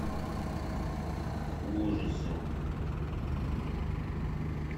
ужасы